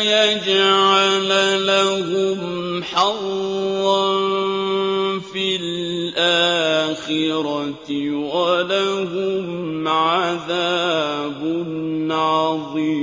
يَجْعَلَ لَهُمْ حَظًّا فِي الْآخِرَةِ ۖ وَلَهُمْ عَذَابٌ عَظِيمٌ